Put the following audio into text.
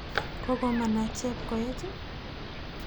Koko manach Chepkoech.